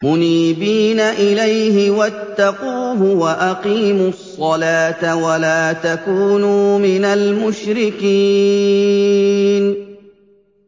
۞ مُنِيبِينَ إِلَيْهِ وَاتَّقُوهُ وَأَقِيمُوا الصَّلَاةَ وَلَا تَكُونُوا مِنَ الْمُشْرِكِينَ